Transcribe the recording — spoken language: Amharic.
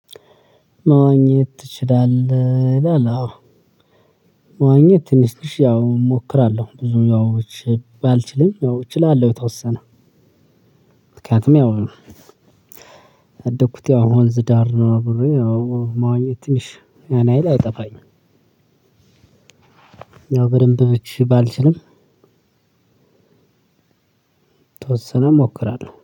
መዋኘት ትችላለህ ይላል አዎ መዋኘት ትንሽ ትንሽ ያው እሞክራለሁ ብዙ ያው ባልችልም ያው እችላለሁ የተወሰነ ምክንያቱም ያው ያደኩት ያው ወንዝ ዳር ነው አብሬ ያው መዋኘት ትንሽ ያን ያህል አይጠፋኝም። ያው በደንብ ብቻ ባልችልም የተወሰነ እሞክራለሁ